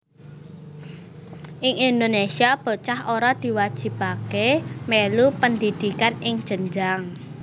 Ing Indonésia bocah ora diwajibaké mèlu pendhidhikan ing jenjang